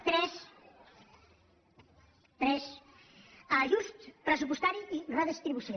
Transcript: tres ajust pressupostari i redistribució